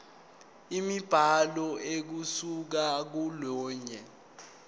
imibhalo ukusuka kolunye